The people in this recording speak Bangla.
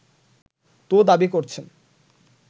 তো দাবি করছেন